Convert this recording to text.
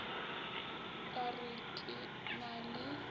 ka re ke na le